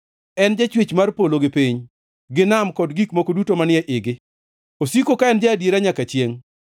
En jachwech mar polo gi piny, gi nam kod gik moko duto manie igi, osiko ka en ja-adiera nyaka chiengʼ.